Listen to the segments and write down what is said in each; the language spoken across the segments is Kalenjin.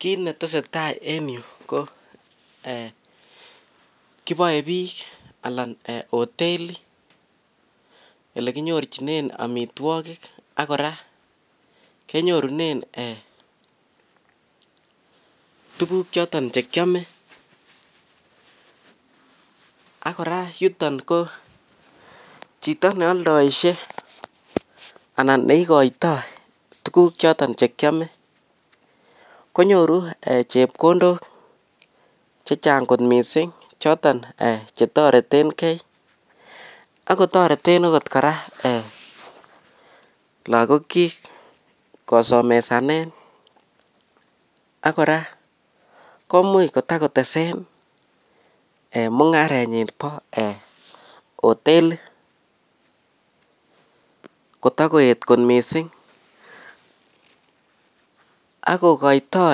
Kit netesetai en yu ko kibae bik anan hoteli elekinyorchinen amitwagik akoraa kenyorunen en tuguk choton chekiame Akira yuton ko Chito neyaldaishe anan neikatoi tuguk choton chekiame konyoru chepkondok chechang kot mising choton chetaretengei okot koraa lagok chik kosomesanen akoraa komuch kotakotesen mungarenyin ba hoteli kotakoet kot mising akokaito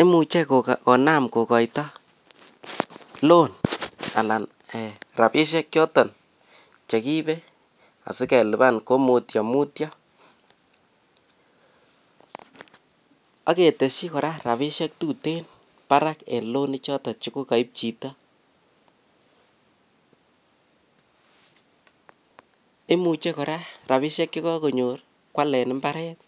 imuche konam kokaito loan anan rabishek choton Cheribe asikeliban ko mutyo mutyo aketeshi koraa rabishek tuten Barak en loan ichoton kokaib Chito imuche koraa rabishek chekakonyor kwalen imbaret